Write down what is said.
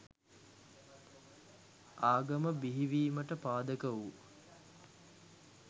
ආගම බිහිවීමට පාදක වූ